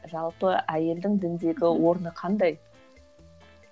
жалпы әйелдің діндегі орны қандай